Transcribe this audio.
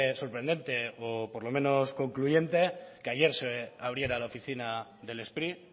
sorprendente o por lo menos concluyente que ayer se abriera la oficina del spri